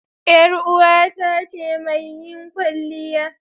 Yar uwata ce mai yin kwalliya.